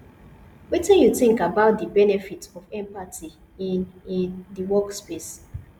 wetin you think about di benefits of empathy in in di workplace